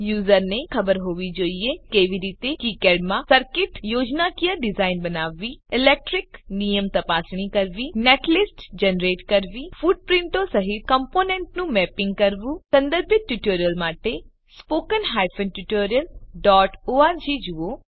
યુઝરને તે પણ ખબર હોવી જોઇએ કે કેવી રીતે કિકાડ માં સર્કીટ યોજનાકીય ડીઝાઇન બનાવવી ઇલેક્ટ્રીક નિયમ તપાસણી કરવી નેટલિસ્ટ જનરેટ કરવી ફૂટપ્રીંટો સહીત કમ્પોનેન્ટનું મેપીંગ કરવું સંદર્ભિત ટ્યુટોરીયલો માટે httpspoken tutorialorg જુઓ